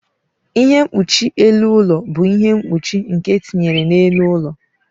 Ihe mkpuchi elu ụlọ bụ ihe mkpuchi nke etinyere n'elu ụlọ.